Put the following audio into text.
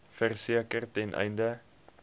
verseker ten einde